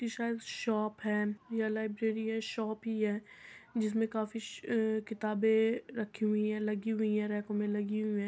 इ शायद शॉप है या लाइब्रेरी है शॉप ही है। जिसमें काफी स अ किताबे रखी हुई हैं लगी हुई हैं रैको में लगी हुई हैं।